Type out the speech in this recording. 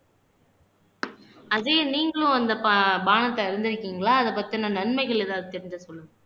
அஜயன் நீங்களும் அந்த பாபானத்தை அருந்திருக்கீங்களா அதைப் பத்தின நன்மைகள் ஏதாவது தெரிஞ்சா சொல்லுங்க